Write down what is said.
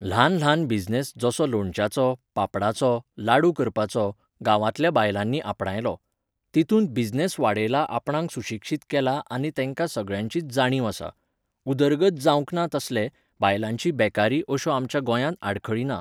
ल्हान ल्हान बिजनेस, जसो लोणच्याचो, पापडाचो, लाडू करपाचो, गांवांतल्या बायलांनी आपणायलो. तितूंत बिजनेस वाडयला आपणांक सुशिक्षीत केलां आनी तेंका सगळ्याचीच जाणीव आसा.उदरगत जावंक ना तसले, बायलांची बेकारी अश्यो आमच्या गोंयांत आडखळी ना.